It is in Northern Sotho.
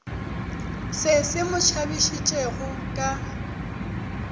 se se mo tšhabišitšego ka